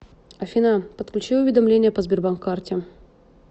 афина подключи уведомления по сбербанк карте